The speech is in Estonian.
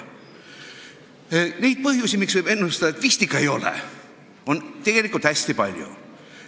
Neid põhjuseid, miks võib ennustada, et vist ikka ei ole, on hästi palju.